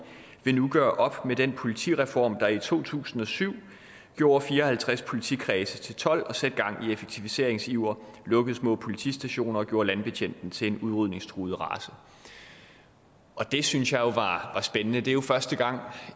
vil nu gøre op med den politireform der i to tusind og syv gjorde fire og halvtreds politikredse til tolv og satte gang i effektiviseringsiver lukkede små politistationer og gjorde landbetjenten til en udrydningstruet race det synes jeg var spændende det er jo første gang